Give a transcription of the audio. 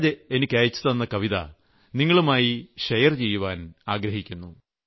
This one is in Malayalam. സൂരജ് എനിയ്ക്കയച്ചുതന്ന കവിത നിങ്ങളുമായി പങ്കിടാൻ ഞാൻ ആഗ്രഹിക്കുന്നു